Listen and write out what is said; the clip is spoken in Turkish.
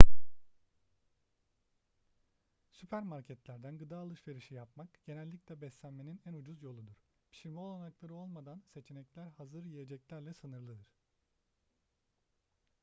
süpermarketlerden gıda alışverişi yapmak genellikle beslenmenin en ucuz yoludur pişirme olanakları olmadan seçenekler hazır yiyeceklerle sınırlıdır